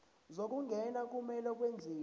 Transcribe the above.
zokungena kumele kwenziwe